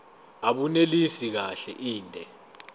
abunelisi kahle inde